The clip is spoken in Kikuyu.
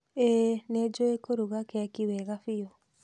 Ĩĩ nĩjũĩ kuruga keki wega biũ